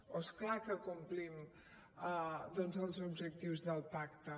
oh és clar que complim doncs els objectius del pacte